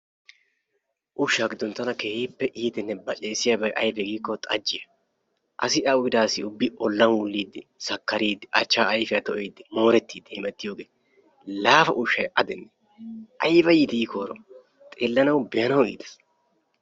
Ushsha gidoni tana keehipe iitiyane bacesiyabi aybe giiko xajiyaa laafa ushi a gidene ayba iiti ibaw ayfiyani xeelanawkka iiteesi.